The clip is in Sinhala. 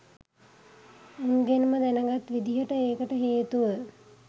උන්ගෙන්ම දැනගත් විදිහට ඒකට හේතුව